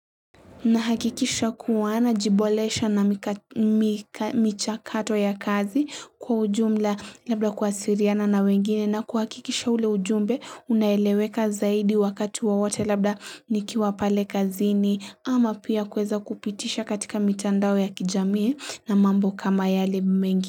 Nahakikisha kuwa najiboresha na michakato ya kazi kwa ujumla labda kuwasiliana na wengine na kuhakikisha ule ujumbe unaeleweka zaidi wakati wawote labda nikiwa pale kazini ama pia kuweza kupitisha katika mitandao ya kijamii na mambo kama yale mengi.